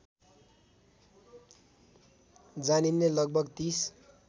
जानिने लगभग ३०